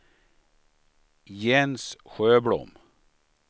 Jens Sjöblom